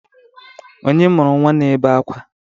Onye mụrụ nnwa na-ebe akwa?